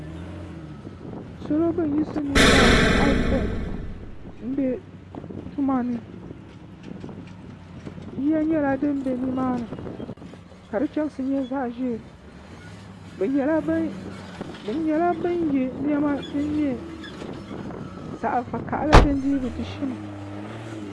Salo bani yisi nieiba ayopɔin n bɛ tuma ni yiya nyɛla dini bɛ ni maa ni ka di chɛmsi nyɛ zaɣi ʒɛɛ bi nyɛla bini ye nɛma zaɣi vakahali dini dii bi di shimm.